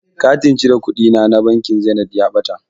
Katin cire kuɗina na bankin zenit ya ɓata.